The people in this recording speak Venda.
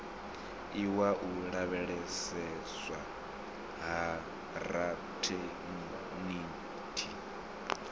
iwa u lavheieswa ha rathekiniki